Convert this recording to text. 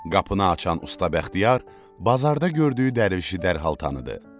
Qapını açan usta Bəxtiyar bazarda gördüyü dərvişi dərhal tanıdı.